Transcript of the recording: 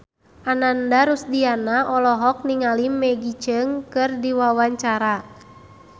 Ananda Rusdiana olohok ningali Maggie Cheung keur diwawancara